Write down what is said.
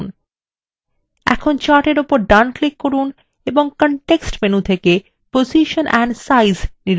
এখন chart এর উপর ডান click করুন এবং context menu থেকে position and size নির্বাচন করুন